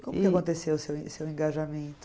Como que aconteceu o seu o seu engajamento?